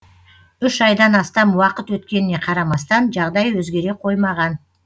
үш айдан астам уақыт өткеніне қарамастан жағдай өзгере қоймаған